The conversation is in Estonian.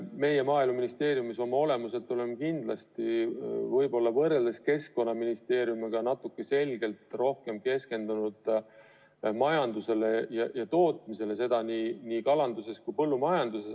Meie Maaeluministeeriumis oleme võrreldes Keskkonnaministeeriumiga selgelt rohkem keskendunud majandusele ja tootmisele, seda nii kalanduses kui ka põllumajanduses.